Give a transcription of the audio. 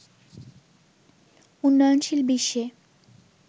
উন্নয়নশীল বিশ্বে